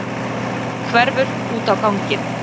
Hverfur út á ganginn.